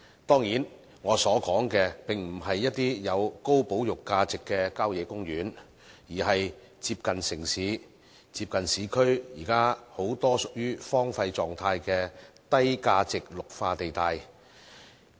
當然，我所說的並不是一些具高保育價值的效野公園，而是很多接近市區、現時屬於荒廢狀態的低價值綠化地帶。